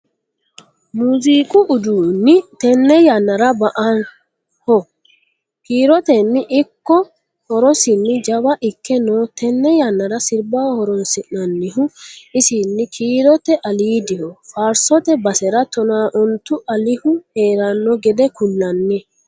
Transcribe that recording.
Muziiqu uduuni tene yannara ba"aho kiiroteni ikko horosinni jawa ikke no tene yannara sirbaho horonsi'nannihu isini kiirote alidiho faarsote basera tona ontu alihu heerano gede ku'lanni.